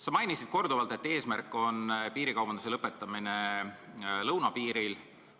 Sa mainisid korduvalt, et eesmärk on lõpetada piirikaubandus lõunapiiril.